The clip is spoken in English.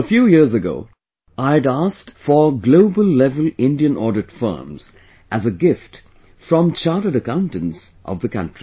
A few years ago, I had asked for global level Indian audit firms as a gift from Chartered Accountants of the country